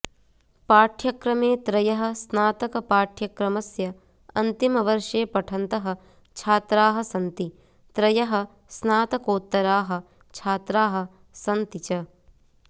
पाठ्यक्रमे त्रयः स्नातकपाठ्यक्रमस्य अन्तिमवर्षे पठन्तः छात्राः सन्ति त्रयः स्नातकोत्तराः छात्राः सन्ति च